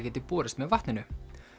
geti borist með vatninu